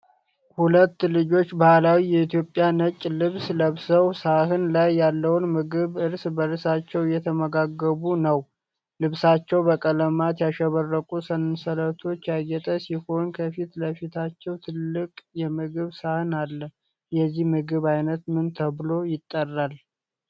ሁለት ልጆች ባህላዊ የኢትዮጵያ ነጭ ልብስ ለብሰው፣ ሳህን ላይ ያለውን ምግብ እርስ በርሳቸው እየተመጋገቡ ነው። ልብሳቸው በቀለማት ያሸበረቁ ሰንሰለቶች ያጌጠ ሲሆን፣ ከፊት ለፊታቸው ትልቅ የምግብ ሳህን አለ። የዚህ ምግብ አይነት ምን ተብሎ ይጠራል?